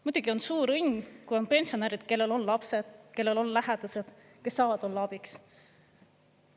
Muidugi on suur õnn, kui on pensionärid, kellel on lapsed, kellel on lähedased, kes saavad olla abiks.